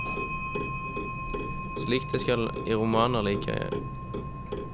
Slik det skal i romaner jeg liker.